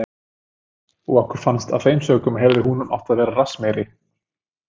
Og okkur fannst að af þeim sökum hefði hún átt að vera rassmeiri.